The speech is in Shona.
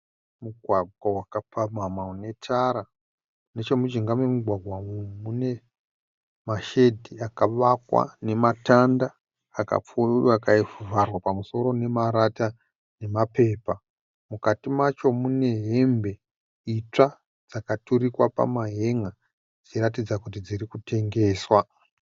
Mugwagwa wakapamhamha une tara nechemujinga memugwagwa umu mune mashedhi akavakwa nematanda akavharwa pamusoro nemarata nemapepa. Mukati macho mune hembe itsva dzakaturikwa pamahen,a dzichiratidza kuti dziri kutengeswa.